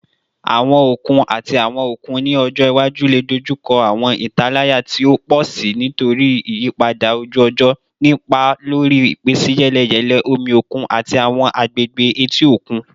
Awọn okun ati awọn okun ni ọjọ iwaju le dojuko awọn italaya ti o pọ si nitori iyipada oju-ọjọ, ni ipa lori ipinsiyeleyele omi okun ati awọn agbegbe eti okun.